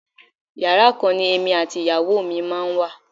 Yàrá kan ni èmi àti ìyàwó mi máa ń wà.